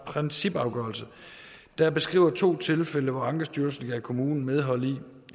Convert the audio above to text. principafgørelse der beskriver to tilfælde hvor ankestyrelsen gav kommunen medhold i